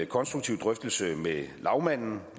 konstruktiv drøftelse med lagmanden